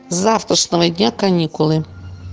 с завтрашнего дня каникулы